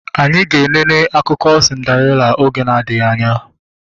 Anyị ga enene akụkọ sindarela oge na adịghị anya